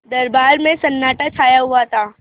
दरबार में सन्नाटा छाया हुआ था